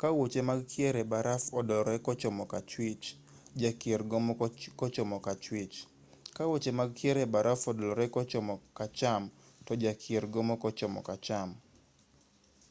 ka wuoche mag kier e baraf odolore kochomo kachwich jakier gomo kochomo kachwich ka wuoche mag kier e baraf odolore kochomo kacham to jakier gomo kochomo kacham